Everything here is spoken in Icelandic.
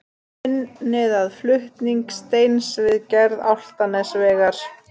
Unnið að flutning steins við gerð Álftanesvegar.